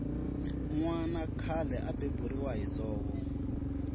nwana khale a beburiwa hi dzovo